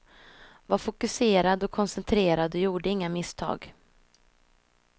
Var fokuserad och koncentrerad och gjorde inga misstag.